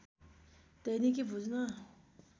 दैनिकी बुझ्न